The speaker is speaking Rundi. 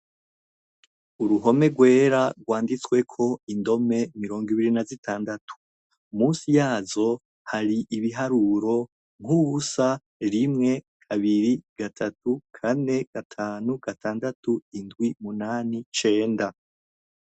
Uruhome rwera rwanditsweko indome mirongo ibiri nazitandatu munsi yazo hari ibiharuro nkubusa rimwe kabiri gatatu kane gatanu gatandatu indwi umunani cenda